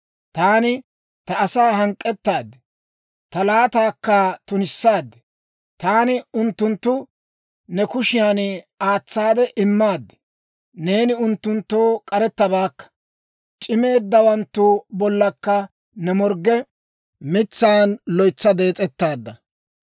Taani ta asaa hank'k'ettaad; ta laataakka tunissaad; taani unttunttu ne kushiyan aatsaade immaad. Neeni unttunttoo k'arettabaakka; c'imeeddawanttu bollankka ne morgge mitsaan loytsa dees'ettaadda.